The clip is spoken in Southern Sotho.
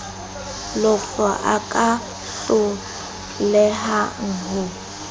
lofe a ka hlolehang ho